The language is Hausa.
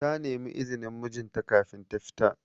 Ta nemi izinin mijin ta kafin ta fita.